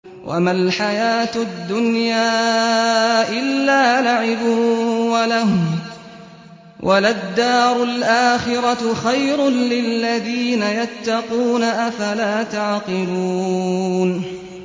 وَمَا الْحَيَاةُ الدُّنْيَا إِلَّا لَعِبٌ وَلَهْوٌ ۖ وَلَلدَّارُ الْآخِرَةُ خَيْرٌ لِّلَّذِينَ يَتَّقُونَ ۗ أَفَلَا تَعْقِلُونَ